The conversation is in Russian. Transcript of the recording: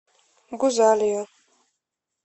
гузалию